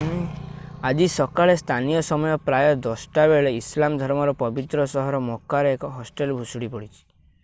ଆଜି ସକାଳେ ସ୍ଥାନୀୟ ସମୟ ପ୍ରାୟ 10ଟା ବେଳେ ଇସଲାମ ଧର୍ମର ପବିତ୍ର ସହର ମକ୍‌କାରେ ଏକ ହଷ୍ଟେଲ ଭୁଶୁଡି ପଡ଼ିଛି।